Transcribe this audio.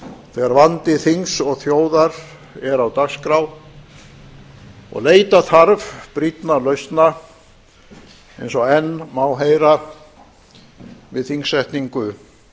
þegar vandi þings og þjóðar er á dagskrá og leita þarf brýnna lausna eins og enn má heyra við þingsetningu